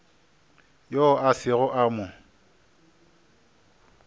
yoo a sego a mo